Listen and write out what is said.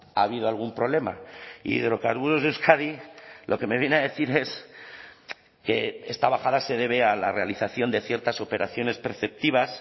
ha habido algún problema hidrocarburos de euskadi lo que me viene a decir es que esta bajada se debe a la realización de ciertas operaciones perceptivas